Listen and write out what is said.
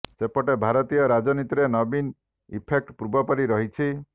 ସେପଟେ ଜାତୀୟ ରାଜନୀତିରେ ନବୀନ ଇଫେକ୍ଟ ପୂର୍ବ ପରି ରହିଛି